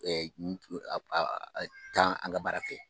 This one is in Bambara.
Taa an ka baara fɛ